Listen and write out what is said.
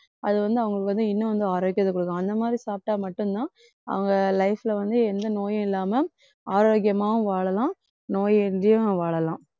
அது வந்து அவங்களுக்கு வந்து இன்னும் வந்து ஆரோக்கியத்தை குடுக்கும் அந்த மாதிரி சாப்பிட்டா மட்டும்தான் அவங்க life ல வந்து எந்த நோயும் இல்லாம ஆரோக்கியமாவும் வாழலாம் நோயின்றியும் வாழலாம்.